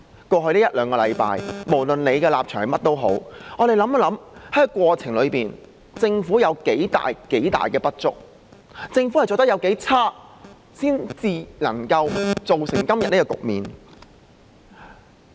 在過去一兩星期，無論大家持甚麼立場，讓我們想想在這過程中政府有多少不足，政府做得有多差，然後才造成今天的局面。